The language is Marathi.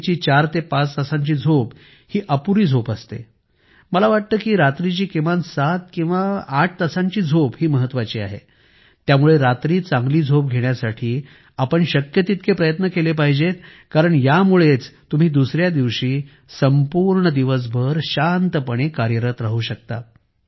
रात्रीची चार ते पाच तासांची झोप ही अपुरी झोप असते मला वाटते की रात्रीची किमान सात किंवा आठ तासांची झोप ही महत्वाची आहे त्यामुळे रात्री चांगली झोप घेण्यासाठी आपण शक्य तितके प्रयत्न केले पाहिजेत कारण यामुळेच तुम्ही दुसऱ्या दिवशी संपूर्ण दिवसभर शांतपणे कार्यरत राहू शकता